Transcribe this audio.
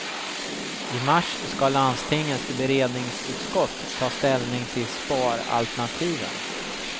I mars ska landstingets beredningsutskott ta ställning till sparalternativen.